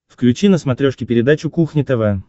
включи на смотрешке передачу кухня тв